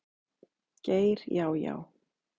Geir Já, já.